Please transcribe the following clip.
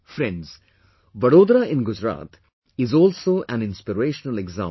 Friends, Vadodara in Gujarat is also an inspirational example